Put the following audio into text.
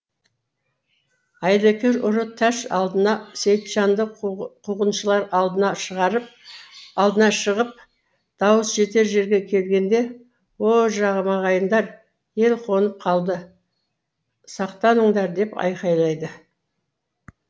айлакер ұры тәш алдына сейітжанды қуғыншылар алдынан шығып дауыс жетер жерге келгенде о жамағайындар ел қонып қалды сақтаныңдар деп айқайлайды